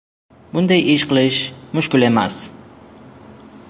Bunday ish qilish mushkul emas.